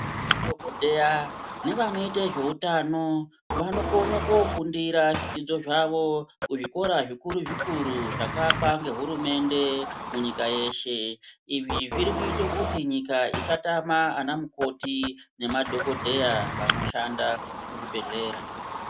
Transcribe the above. Madhokodheya nevanoita zveutano vanokona kofundira zvidzidzi zvavo kuzvikora zvikuru-zvikuru zvakaakwa ngehurumende munyika yeshe izvi zviri kuita kuti nyika isatamba anamukoti nemadhokodheya vanoshanda muzvidbhedhleya.